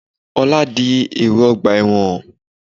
Ọlá di èrò ọgbà ẹ̀wọ̀n.